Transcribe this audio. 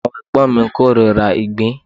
Àwọn ẹ̀gbọ́n mi korira ìgbín.